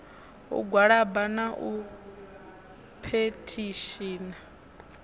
u gwalaba na u phethishina